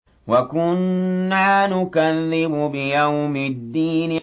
وَكُنَّا نُكَذِّبُ بِيَوْمِ الدِّينِ